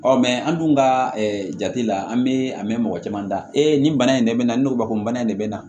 Ɔ an dun ka jate la an bɛ a mɛn mɔgɔ caman ta ee nin bana in de bɛ na ni obakumana in de bɛ na